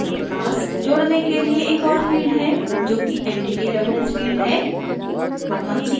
यहाँ हमारे पास जोडने के लिए एक और field है जोकि entity reference field है